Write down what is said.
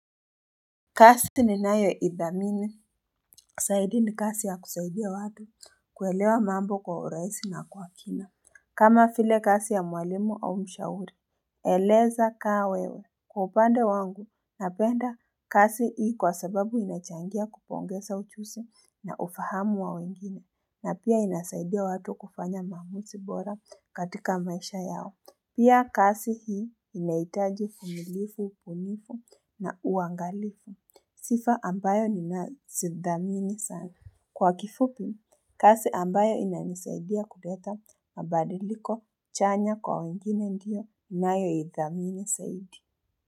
Kasi ni nayo idhamini, saidi ni kasi ya kusaidia watu, kuelewa mambo kwa uraisi na kwa kina. Kama file kasi ya mwalimu au mshauri, eleza kaa wewe. Kwa upande wangu, napenda kasi hii kwa sababu inachangia kupongesa uchusi na ufahamu wa wengine, na pia inasaidia watu kufanya maamusi bora katika maisha yao. Pia kasi hii inaitaji fumilifu, upunifu na uangalifu. Sifa ambayo ni nazidhamini sana. Kwa kifupi, kasi ambayo inanisaidia kuleta mabadiliko chanya kwa wengine ndiyo nayo idhamini saidi.